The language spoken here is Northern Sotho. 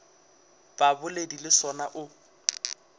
sa bobedi le sona o